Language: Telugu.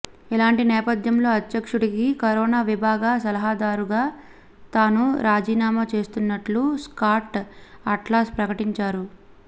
ఇలాంటి నేపథ్యంలో అధ్యక్షుడికి కరోనా విభాగ సలహాదారుగా తాను రాజీనామా చేస్తున్నట్టు స్కాట్ అట్లాస్ ప్రకటించారు